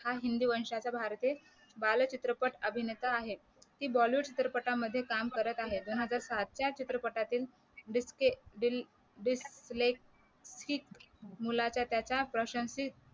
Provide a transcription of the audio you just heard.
हा हिंदू वंशाचा भारतीय बाळ चित्रपट अभिनेता आहे कि बॉलीवूड चित्रपटामध्ये काम करत आहे दोन हजार सातच्या चित्रपटातील मुलाचं त्याच्या प्रशांषीत